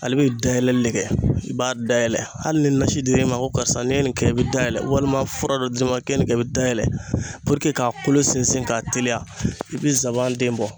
Ale bɛ dayɛlɛli de kɛ ,i b'a dayɛlɛ hali ni nasi dir'e ma ko karisa ne ye nin kɛ, e bɛ da yɛlɛ walima fura dɔ d'i ma ko nin ye nin kɛ, i bɛ dayɛlɛ k'a kolo sinsin ka teliya i bɛ nsaban den bɔ.